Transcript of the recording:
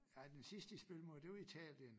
Ej den sidste de spillede mod det var Italien